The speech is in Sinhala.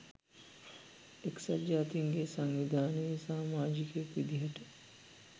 එක්සත් ජාතීන්ගේ සංවිධානයේ සාමාජිකයෙක් විදිහට